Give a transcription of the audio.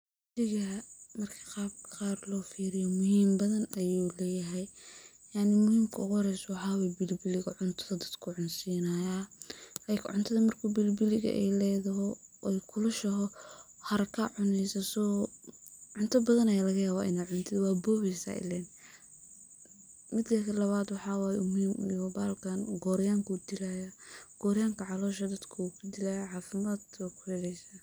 Bilibiliga marka qab qar lo firiyo muhim badhan ayuu leyahay, marka uguhoreyso waxaa way bilibiliga cuntadha uu dadka cunsinayaa, like cuntadha marki ay bilibili ledoho ay kulushuho, haraka aa cuneysaah so cuntabadhan aaa lagayabah in ad cun tid, wabobeysaah ilem. Midi lawa uu muhim uyaho bahalkan qoryanka ayuu dilayaa, qoryanka calosha dadka ayuu dilayaa, cafimad ad kuheleysaah.